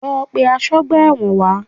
Lọ pe asọ́gbà ẹ̀wọ̀n wá!